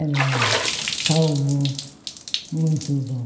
Era um calmo muito bom.